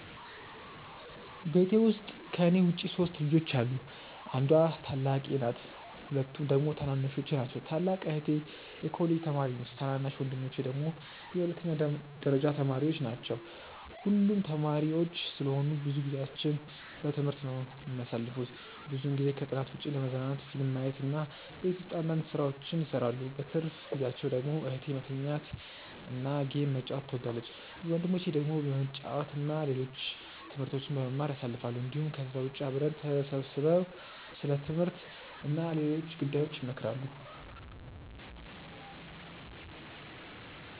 ቤት ውስጥ ከኔ ውጪ 3 ልጆች አሉ። አንዷ ታላቄ ናት ሁለቱ ደግሞ ታናናሾቼ ናቸው። ታላቅ እህቴ የኮሌጅ ተማሪ ነች ታናናሽ ወንድሞቼ ደግሞ የሁለተኛ ደረጃ ተማሪዎች ናቸው። ሁሉም ተማሪዎች ስለሆኑ ብዙ ጊዜአቸውን በትምህርት ነው የሚያሳልፉት። ብዙውን ጊዜ ከጥናት ውጪ ለመዝናናት ፊልም ማየት እና ቤት ውስጥ አንዳንድ ስራዎችን ይሰራሉ። በትርፍ ጊዜአቸው ደግሞ እህቴ መተኛት እና ጌም መጫወት ትወዳለች። ወንድሞቼ ደግሞ በመጫወት እና ሌሎች ትምህርቶችን በመማር ያሳልፋሉ እንዲሁም ከዛ ውጪ አብረው ተሰብስበው ስለ ትምህርት እና ሌሎች ጉዳዮች ይመካከራሉ።